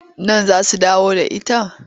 Nan za su dawo da ita.